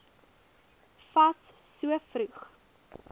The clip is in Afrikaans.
fas so vroeg